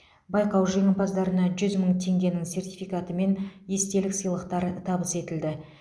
байқау жеңімпаздарына жүз мың теңгенің сертификаты мен естелік сыйлықтар табыс етілді